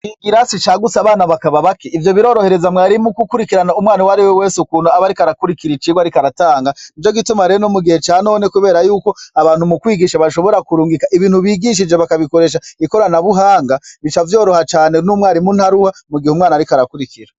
Ikirasi cagutse abana bakaba bake, ivyo birorohereza mwarimu gukurikirana umwana uwari we wese ukuntu aba ariko arakurikira icigwa ariko aratanga, nico gituma rero no mu gihe ca none kubere yuko, abantu mu kwigisha bashobora kurungika ibintu bigishije bakabikoresha ikoranabuhanga, bica vyoroha cane n'umwarimu ntaruha, mu gihe umwana ariko arakurikira.